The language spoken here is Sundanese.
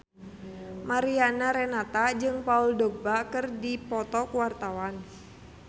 Mariana Renata jeung Paul Dogba keur dipoto ku wartawan